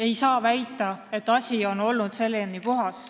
Ei saa väita, et asi oli selleni puhas.